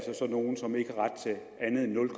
nogle som ikke